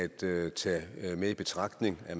mere betryggende at